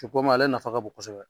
I komi ale nafa ka bon kosɛbɛ